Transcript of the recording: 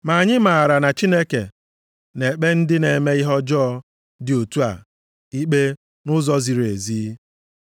Ma anyị maara na Chineke na-ekpe ndị na-eme ihe ọjọọ dị otu a ikpe nʼụzọ ziri ezi.